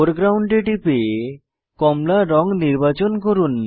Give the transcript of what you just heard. foreground এ টিপে কমলা রঙ নির্বাচন করুন